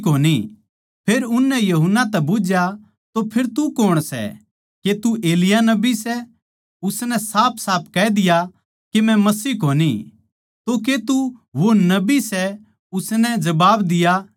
फेर उननै यूहन्ना तै बुझ्झया तो फेर तू कौण सै के तू एलिय्याह नबी सै उसनै साफसाफ कह दिया के मै मसीह कोनी तो के तू वो नबी सै उसनै जबाब दिया ना